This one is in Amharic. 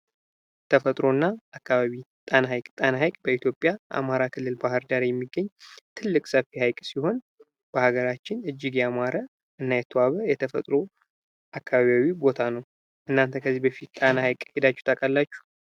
ተፈጥሮና አካባቢ ጣና ሐይቅ ጣና ሐይቅ በኢትዮጵያ አማራ ክልል ባህር ዳር የሚገኝ ትልቅ ሰፊ ሐይቅ ሲሆን በሀገራችን እጅግ ያማረ እና የተዋበ የተፈጥሮ አካባቢያዊ ቦታ ነው። እናንተ ከዚህ በፊት ጣና ሐይቅ ሄዳችሁ ታውቃላችሁ?